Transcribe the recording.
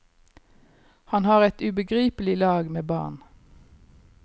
Han har et ubegripelig lag med barn.